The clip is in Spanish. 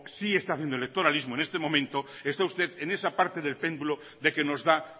sí está haciendo electoralismo en este momento está usted en esa parte del péndulo de que nos da